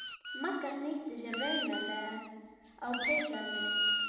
Magga snýtti sér raunaleg á peysuerminni.